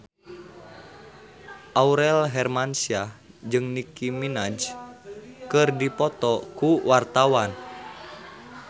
Aurel Hermansyah jeung Nicky Minaj keur dipoto ku wartawan